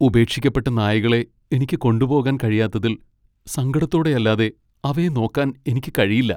ഉപേക്ഷിക്കപ്പെട്ട നായകളെ എനിക്ക് കൊണ്ടുപോകാൻ കഴിയാത്തതിൽ സങ്കടത്തോടെ അല്ലാതെ അവയെ നോക്കാൻ എനിക്ക് കഴിയില്ല.